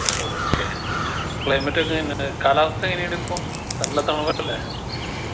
okay climate ഒക്കെ എങ്ങനെ കാലാവസ്ഥ എങ്ങനിണ്ട് ഇപ്പൊ നല്ല തണുപ്പല്ലേ